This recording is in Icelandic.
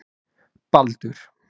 Baldur